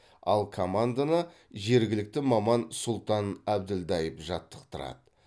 ал команданы жергілікті маман сұлтан әбділдаев жаттықтарады